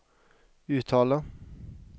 uttale